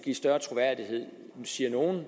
siger nogle